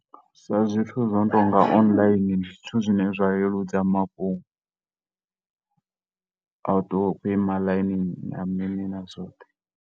Zwa zwithu zwi no tonga online ndi zwithu zwine zwa leludza mafhungo a u ṱuwa u tshi khou ima ḽainini na mini na zwoṱhe.